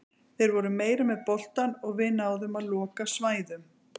Þeir voru meira með boltann og við náðum að loka svæðum.